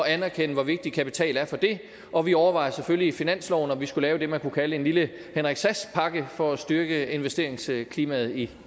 at anerkende hvor vigtig kapital er for det og vi overvejer selvfølgelig i finansloven om vi skulle lave det man kunne kalde en lille henrik sass pakke for at styrke investeringsklimaet i